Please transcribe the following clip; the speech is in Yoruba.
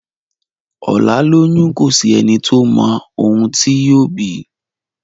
ọlá lóyún kọ sí ẹní tó má òun tí yóò bí